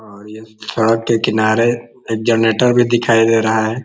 और ये के किनारे एक जनरेटर भी दिखाई दे रहा है।